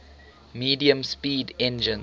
medium speed engines